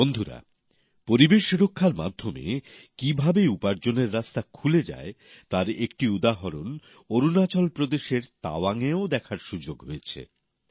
বন্ধুরা পরিবেশ রক্ষার মাধ্যমে কিভাবে উপার্জনের রাস্তা খুলে যায় তার একটি উদাহরণ অরুণাচল প্রদেশের তাওয়াংয়েও দেখার সুযোগ হয়েছে